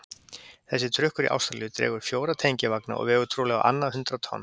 Þessi trukkur í Ástralíu dregur fjóra tengivagna og vegur trúlega á annað hundrað tonn.